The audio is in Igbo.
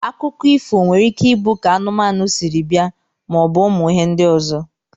Akụkọ ifo nwere ike ibu ka anụmanu siri bia ma obu ụmụ ihe ndi ọzọ.